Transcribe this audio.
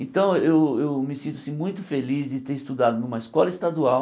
Então eu eu me sinto assim muito feliz de ter estudado numa escola estadual.